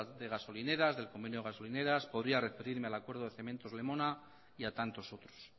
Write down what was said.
de gasolineras del convenio gasolineras podría referirme al acuerdo de cementos lemona y a tantos otros